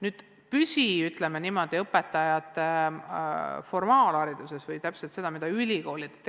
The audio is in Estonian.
Nüüd sellest, mis puudutab õpetajate formaalharidust või täpsemalt seda, mida ülikoolid teevad.